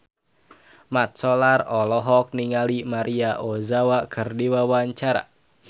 Mat Solar olohok ningali Maria Ozawa keur diwawancara